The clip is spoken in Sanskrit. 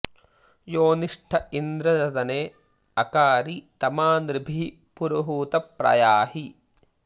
योनिष्ट इन्द्र सदने अकारि तमा नृभिः पुरुहूत प्र याहि